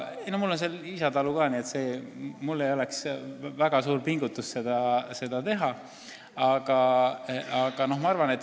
Mul on seal isatalu ka, nii et mulle ei oleks väga suur pingutus seda teha.